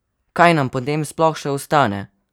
Kaj nam potem sploh še ostane?